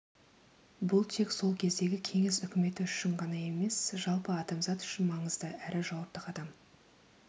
бұл тек сол кездегі кеңес үкіметі үшін ғана емес жалпы адамзат үшін маңызды әрі жауапты қадам